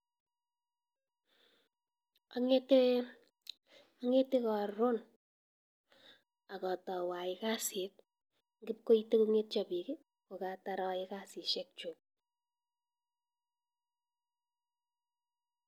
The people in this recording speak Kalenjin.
Ang'ete karon akatau ayai kasit kipkoite kongetya pik kokatar ayae kasishek chuk.